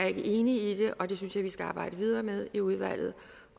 er ikke enig i det og jeg synes vi skal arbejde videre med i udvalget